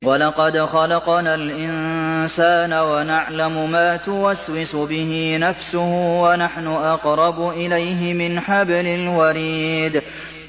وَلَقَدْ خَلَقْنَا الْإِنسَانَ وَنَعْلَمُ مَا تُوَسْوِسُ بِهِ نَفْسُهُ ۖ وَنَحْنُ أَقْرَبُ إِلَيْهِ مِنْ حَبْلِ الْوَرِيدِ